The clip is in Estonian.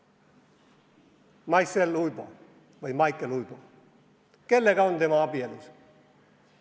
Maicel Uibo või Maicel Uibo – kellega on tema abielus?